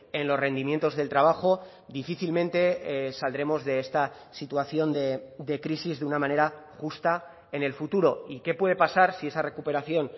en los rendimientos del trabajo difícilmente saldremos de esta situación de crisis de una manera justa en el futuro y qué puede pasar si esa recuperación